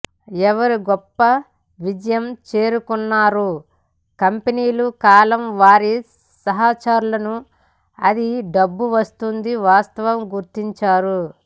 ఎవరు గొప్ప విజయం చేరుకున్నారు కంపెనీలు కాలం వారి సహచరులను అది డబ్బు వస్తుంది వాస్తవం గుర్తించారు